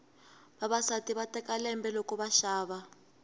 vavasati va teka lembe loko va xava